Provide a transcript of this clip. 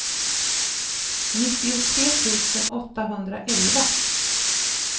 nittiotre tusen åttahundraelva